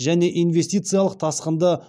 және инвестициялық тасқынды